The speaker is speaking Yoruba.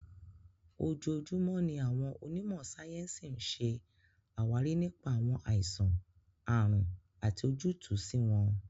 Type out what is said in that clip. Ojoojúmọ́ ni àwọn onímò sáyẹ́ǹsì ń ṣe àwárí nípa àwọn àìsàn/àrùn àti ojútùú sí wọn.